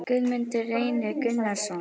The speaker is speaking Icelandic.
Guðmundur Reynir Gunnarsson